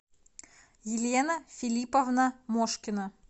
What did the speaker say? елена филипповна мошкина